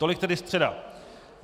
Tolik tedy středa.